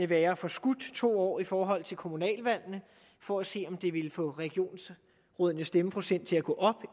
være forskudt to år i forhold til kommunalvalgene for at se om det ville få regionsrådenes stemmeprocent til at gå op